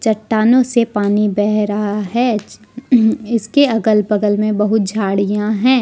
चट्टानों से पानी बह रहा है इसके अगल बगल में बहुत झाड़ियां हैं।